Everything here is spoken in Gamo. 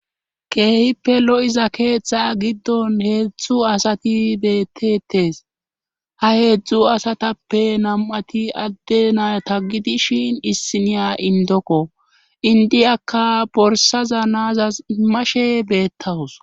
keehippe lo7iza keeththa giddon heedzdzu asati bettetes ha heedzdzu asatappe nam7ati adde na taggidi shin issiniya indokko indiyakka borsaza naazas imashe beettawus